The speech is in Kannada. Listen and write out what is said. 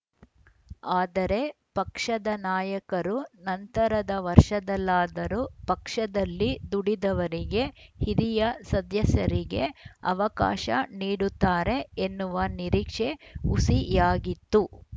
ಆದರೆ ಪಕ್ಷದ ನಾಯಕರು ನಂತರದ ವರ್ಷದಲ್ಲಾದರೂ ಪಕ್ಷದಲ್ಲಿ ದುಡಿದವರಿಗೆ ಹಿರಿಯ ಸದ್ಯಸರಿಗೆ ಅವಕಾಶ ನೀಡುತ್ತಾರೆ ಎನ್ನುವ ನಿರೀಕ್ಷೆ ಹುಸಿಯಾಗಿತ್ತು